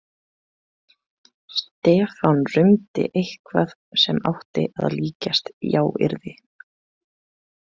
Stefán rumdi eitthvað sem átti að líkjast jáyrði.